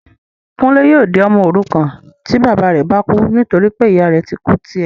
Kúnlé yóò di ọmọ òrukàn tí bàbá rẹ bá kú nítorí pé ìyá rẹ ti kú tí ẹ́